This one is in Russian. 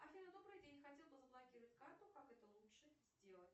афина добрый день хотела бы заблокировать карту как это лучше сделать